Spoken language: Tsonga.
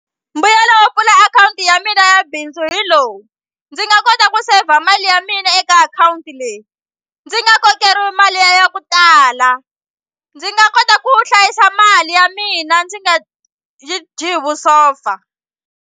Mbuyelo wo pfula akhawunti ya mina ya bindzu hi lowu ndzi nga kota ku saver mali ya mina eka akhawunti leyi ndzi nga kokeriwi mali ya ya ku tala ndzi nga kota ku hlayisa mali ya mina ndzi nga yi dyi hi vusopfa.